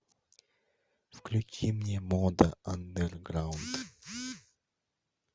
включи мне мода андерграунд